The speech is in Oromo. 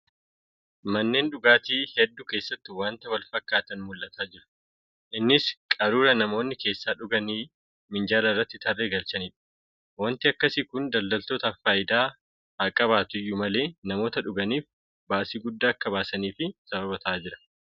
Manneen dhugaatii hedduu keessatti waanta walfakkaataan mul'atu jira .Innis qaruuraa namoonni keessaa dhuganii minjaala irra tarree galchanidha. Waanti akkasii kun daldaltootaaf faayidaa haaqabaatu iyyuu malee namoota dhuganiif baasii guddaa akka baasaniif sababa ta'aa jira.